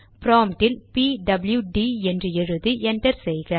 ப்ராம்ட்டில் P W D என்று எழுதி enter செய்க